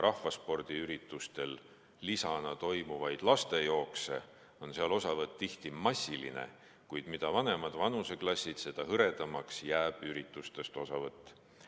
Rahvaspordiürituste lisana toimuvatest lastejooksudest osavõtt on tihti massiline, kuid mida vanemad vanuseklassid, seda hõredamaks jääb üritustest osavõtt.